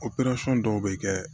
dɔw bɛ kɛ